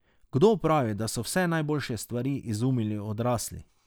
Kdo pravi, da so vse najboljše stvari izumili odrasli?